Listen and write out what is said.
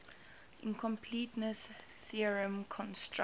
incompleteness theorem constructs